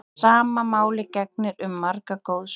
Sama máli gegnir um margar goðsögur.